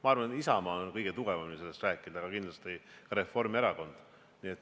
Ma arvan, et Isamaa puhul võib kõige tugevamini sellest rääkida, aga kindlasti ka Reformierakonna puhul.